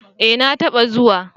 Eh na ta ba zuwa